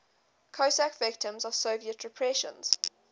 cossack victims of soviet repressions